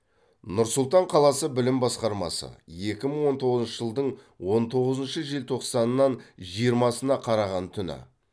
нұр сұлтан қаласы білім басқармасы екі мың он тоғызыншы жылдың он тоғызыншы желтоқсанынан жиырмасына қараған түні